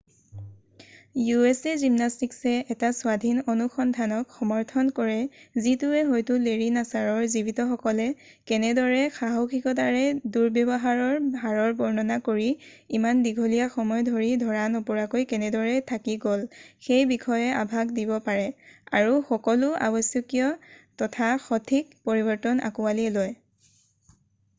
usa জিমনাষ্টকছে এটা স্বাধীন অনুসন্ধানক সমৰ্থন কৰে যিটোৱে হয়তো লেৰী নাছাৰৰ জীৱিতসকলে কেনেদৰে সাহসিকতাৰে দূৰ্ব্যৱহাৰৰ হাৰৰ বৰ্ণনা কৰি ইমান দীঘলী্যা সময় ধৰি ধৰা নপৰাকৈ কেনেদৰে থাকি গ'ল সেই বিষয়ে আভাস দিব পাৰে আৰু সকলো আৱশ্যকীয় তথা সঠিক পৰিৱৰ্তন আঁকোৱালি লয়